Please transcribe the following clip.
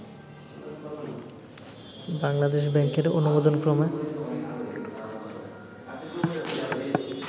বাংলাদেশ ব্যাংকের অনুমোদনক্রমে